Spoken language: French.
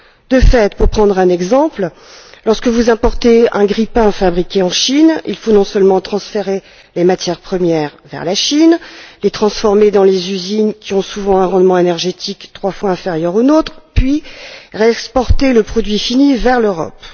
De fait, pour prendre un exemple, lorsque vous importez un grille pain fabriqué en Chine, il faut non seulement transférer les matières premières vers la Chine, les transformer dans des usines qui ont souvent un rendement énergétique trois fois inférieur aux nôtres, mais aussi réexporter le produit fini vers l'Europe.